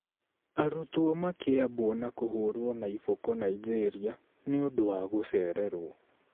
Arutwo makĩambwo na kũhũũrwo na iboko Nigeria nĩ ũndũ wa gũcererwo